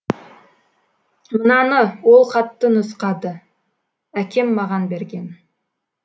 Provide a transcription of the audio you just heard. мынаны ол хатты нұсқады әкем маған берген